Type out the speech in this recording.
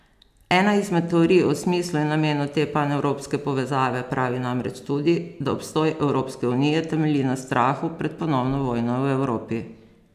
Ena izmed teorij o smislu in namenu te panevropske povezave pravi namreč tudi, da obstoj Evropske unije temelji na strahu pred ponovno vojno v Evropi.